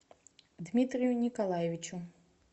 дмитрию николаевичу